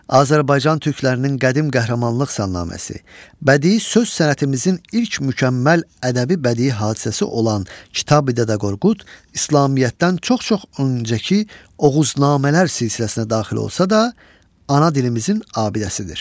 Azərbaycan türklərinin qədim qəhrəmanlıq salnaməsi, bədii söz sənətimizin ilk mükəmməl ədəbi bədii hadisəsi olan Kitabi Dədə Qorqud İslamiyyətdən çox-çox öncəki Oğuznamələr silsiləsinə daxil olsa da, ana dilimizin abidəsidir.